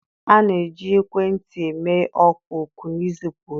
A na-eji ekwentị eme oku na izipu ozi.